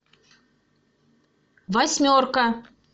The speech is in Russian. восьмерка